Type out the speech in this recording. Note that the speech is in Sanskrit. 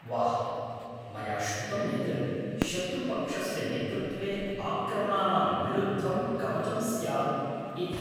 वाह्। मया श्रुतं यत् शत्रुपक्षस्य नेतृत्वे आक्रमणानां विरुद्धं कवचं स्यात् इति।